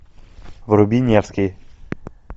вруби невский